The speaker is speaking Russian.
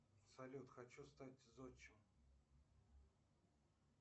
салют хочу стать зодчим